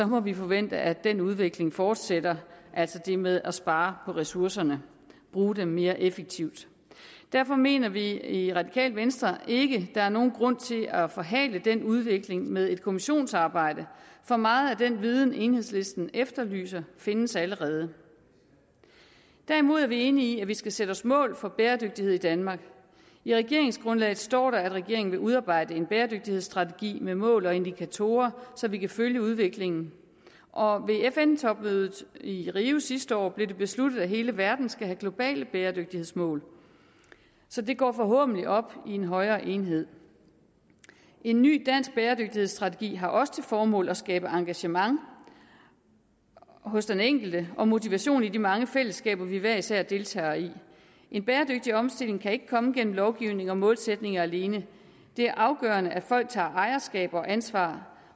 må vi forvente at den udvikling fortsætter altså det med at spare på ressourcerne og bruge dem mere effektivt derfor mener vi i det radikale venstre ikke at der er nogen grund til at forhale den udvikling med et kommissionsarbejde for meget af den viden enhedslisten efterlyser findes allerede derimod er vi enige i at man skal sætte sig mål for bæredygtighed i danmark i regeringsgrundlaget står der at regeringen vil udarbejde en bæredygtighedsstrategi med mål og indikatorer så vi kan følge udviklingen og ved fn topmødet i rio sidste år blev det besluttet at hele verden skal have globale bæredygtighedsmål så det går forhåbentlig op i en højere enhed en ny dansk bæredygtighedsstrategi har også til formål at skabe engagement hos den enkelte og motivation i de mange fællesskaber vi hver især deltager i en bæredygtig omstilling kan ikke komme gennem lovgivning og målsætninger alene det er afgørende at folk tager ejerskab og ansvar